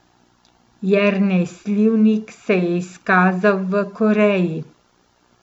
Jernej Slivnik se je izkazal v Koreji.